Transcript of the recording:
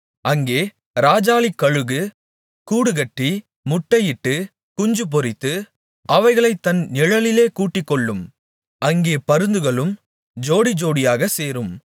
அங்கே இராஜாளிக்கழுகு கூடுகட்டி முட்டையிட்டு குஞ்சுபொரித்து அவைகளைத் தன் நிழலிலே கூட்டிக்கொள்ளும் அங்கே பருந்துகளும் ஜோடிஜோடியாகச் சேரும்